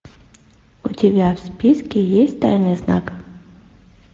у тебя в списке есть тайный знак